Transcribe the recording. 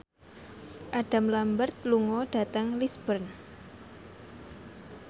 Adam Lambert lunga dhateng Lisburn